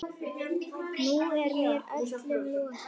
Nú er mér öllum lokið.